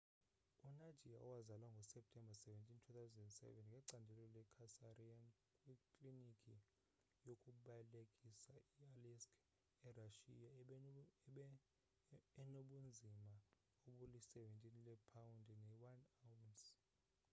unadia owazalwa ngo-septemba 17 2007 ngecandelo le-cesarean kwiklinikhi yokubelekisa e-aleisk erashiya enobunzima obuli-17 leepawundi ne 1 awunsi